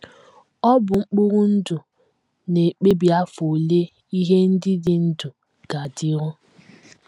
Ọ bụ mkpụrụ ndụ na - ekpebi afọ ole ihe ndị dị ndụ ga - adịru.